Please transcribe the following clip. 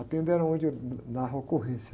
A tenda era onde eu narro a ocorrência.